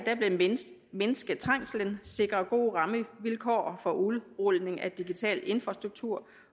vil mindske trængslen sikre gode rammevilkår for udrulning af den digitale infrastruktur